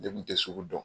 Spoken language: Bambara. Ne kun tɛ sugu dɔn